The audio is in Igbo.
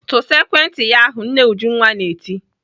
"Tụsa ekwentị yi ahụ!" Nne Ujunwa na-eti.